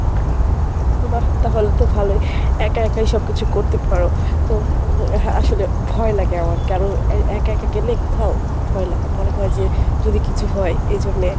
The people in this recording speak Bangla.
বাহ! তাহলে তো ভালোই, একা একাই সবকিছু করতে পারো। তো হম আসলে ভয় লাগে আমার কারো এ একা একা গেলে কোথাও ভয় লাগে মনে হয় যে যদি কিছু হয় এজন্যে